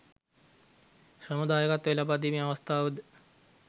ශ්‍රම දායකත්වය ලබාදීමේ අවස්ථාවද